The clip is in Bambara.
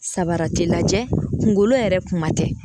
Sabara ti lajɛ, kunkolo yɛrɛ kuma tɛ.